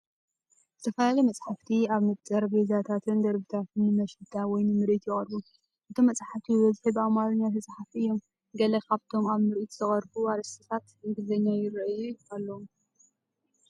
ዝተፈላለዩ መጻሕፍቲ ኣብ ጠረጴዛታትን ደርብታትን ንመሸጣ ወይ ንምርኢት ይቐርቡ። እቶም መጻሕፍቲ ዝበዝሑ ብኣምሓርኛ ዝተጻሕፉ እዮም። ገለ ካብቶም ኣብ ምርኢት ዝቐርቡ ኣርእስታት እንግሊዝኛ ይሪኣዩ ኣለው